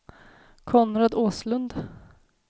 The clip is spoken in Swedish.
Konrad Åslund